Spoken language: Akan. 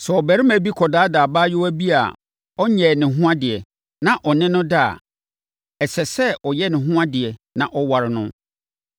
“Sɛ ɔbarima bi kɔdaadaa abaayewa bi a ɔnyɛɛ ne ho adeɛ na ɔne no da a, ɛsɛ sɛ ɔyɛ ne ho adeɛ na ɔware no.